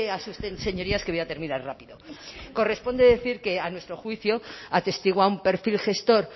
asusten señorías que voy a terminar rápido corresponde decir que a nuestro juicio atestigua un perfil gestor